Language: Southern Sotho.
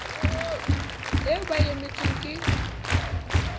eo ba e emetseng ke